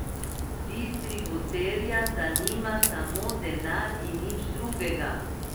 Distributerja zanima samo denar in nič drugega.